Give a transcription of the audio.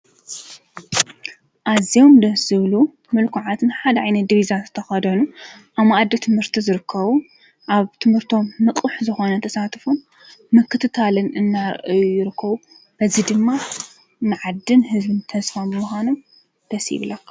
ኣዝዮም ደስ ዝብሉ ምልኩዓትን ሓደ ዓይነት ዲቪዛ ዝተኸደኑ ኣብ ማኣዲ ትምህርቲ ዝርከቡ ኣብ ትምህርቶም ንቑሕ ዝኾነ ተሳትፎ ምክትታልን እናረኣዩ ይርከቡ፡፡ እዚ ድማ ማዕድን ህዝቢ ተስፋ ብምዃኖም ደስ ይብለካ፡፡